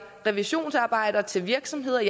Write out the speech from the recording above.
revisionsarbejde til virksomheder og